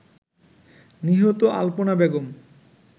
নিহত আল্পনা বেগম